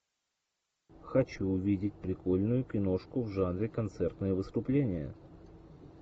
хочу увидеть прикольную киношку в жанре концертное выступление